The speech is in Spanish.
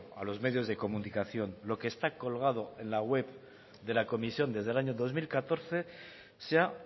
a los medios de comunicación lo que está colgado en la web de la comisión desde el año dos mil catorce sea